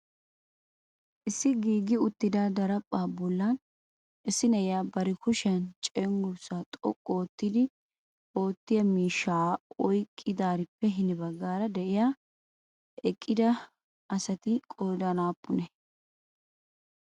Issi giigi uttida darapha bollan issi na'iyanbari kushiyaan cenggurssa xoqqu oottita miishsha oyqqidaarippe hini baggaan de'iyaa eqqida asati qoodan aappune?